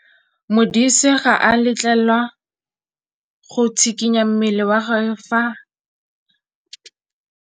Modise ga a letlelelwa go tshikinya mmele wa gagwe fa ba dira karô.